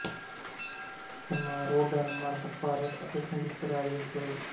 ਸਮਾਰੋਹ ਡੈਨਮਾਰਕ ਭਾਰਤ ਅਤੇ ਸੰਯੁਕਤ ਰਾਜ ਵਿੱਚ ਹੋਏ